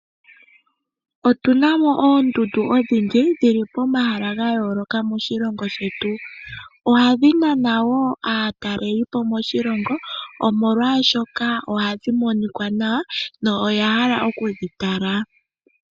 Otu na mo oondundu odhindji dhili pomahala ga yooloka moshilongo shetu, ohadhi nana wo aatalelipo moshilongo omolwashoka ohadhi monika nawa noya hala okudhi tala.